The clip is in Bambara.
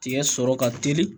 Tigɛ sɔrɔ ka teli